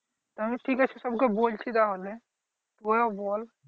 ঠিক আছে তাহলে সব কে বলছি তাহলে ওরে বল